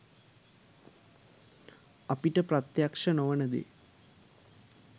අපිට ප්‍රත්‍යක්ෂ නොවන දේ